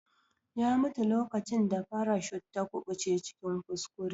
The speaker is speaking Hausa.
Ya mutu lokacin da farashut ta kubuce cikin kuskure.